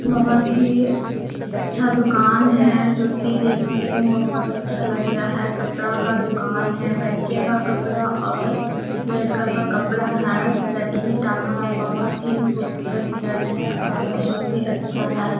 बहोत ही अच्छा दुकान है जो की देखने में बहोत ही अच्छा लग रहा है। कपड़ा का दुकान है। बच्चे का कपड़ा और लड़का का कपडा है। शर्ट भी टंगा हुआ है बहोत ही खूबसूरत शर्ट है और बहोत ही अच्छा है।